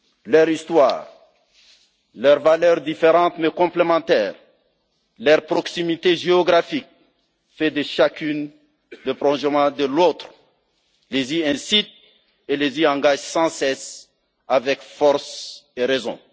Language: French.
Leur histoire, leurs valeurs différentes mais complémentaires, leur proximité géographique fait de chacune le prolongement de l'autre, les y incitent et les y engagent sans cesse, avec force et raison.